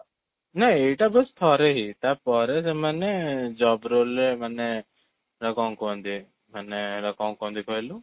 ନାଇଁ ଏଇଟା ବାସ ଥରେ ହିଁ ତା'ପରେ ସେମାନେ job role ରେ ମାନେ କ'ଣ କୁହନ୍ତି, ମାନେ ଏଟା କ'ଣ କୁହନ୍ତି କହିଲୁ?